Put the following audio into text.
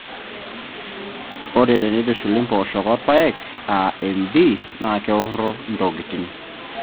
Ore teneitushuli mpoosho orpaek aa MD naa keworro ntokitin naa kegoli nena poosho alang irpaek neeku keikiti eishoi oorpaek.